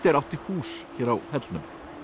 átti hús hér á hellnum